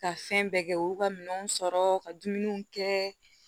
Ka fɛn bɛɛ kɛ u y'u ka minɛnw sɔrɔ ka dumuniw kɛ